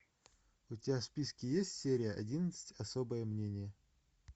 у тебя в списке есть серия одиннадцать особое мнение